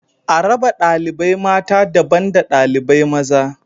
A raba ɗalibai mata daban da ɗalibai maza